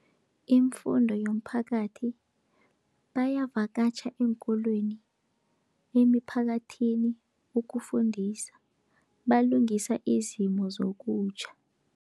Imfundo yomphakathi, bayavakatjha eenkolweni, emiphakathini ukufundisa balungisa izimo zokutjha.